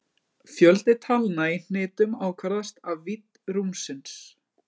Fjöldi talna í hnitum ákvarðast af vídd rúmsins.